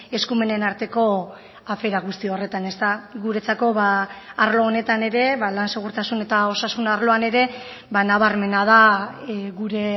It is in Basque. eskumenen arteko afera guzti horretan guretzako arlo honetan ere lan segurtasun eta osasun arloan ere nabarmena da gure